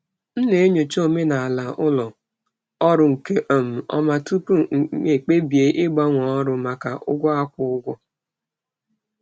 Ana m enyocha omenala ụlọ ọrụ nke ọma tupu m ekpebie ịgbanwe ọrụ n'ihi ụgwọ ọrụ.